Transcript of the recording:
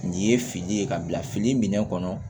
Nin ye fini ye ka bila fini minɛ kɔnɔ